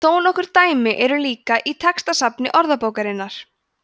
þó nokkur dæmi eru líka í textasafni orðabókarinnar